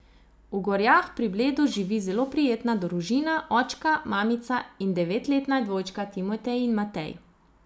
V Gorjah pri Bledu živi zelo prijetna družina, očka, mamica in devetletna dvojčka, Timotej in Matej.